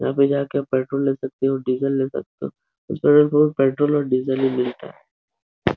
यहाँ पर जा कर पेट्रोल ले सकते हो डीजल ले सकते हो। इस पेट्रोल पंप पर पेट्रोल और डीजल ही मिलता है।